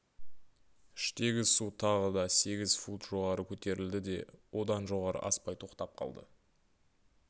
іштегі су тағы да сегіз фут жоғары көтерілді де одан жоғары аспай тоқтап қалды